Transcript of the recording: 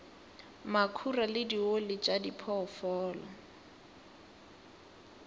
makhura le dioli tša diphoofolo